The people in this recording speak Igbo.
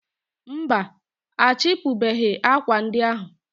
mba, achịpụbeghị akwa ndị ahụ.